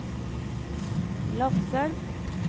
Lakselv